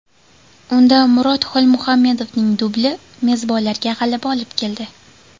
Unda Murod Xolmuhammedovning dubli mezbonlarga g‘alaba olib keldi.